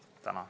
Tänan!